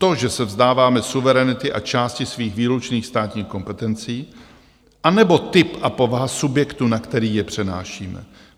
To, že se vzdáváme suverenity a části svých výlučných státních kompetencí, anebo typ a povaha subjektu, na který je přenášíme?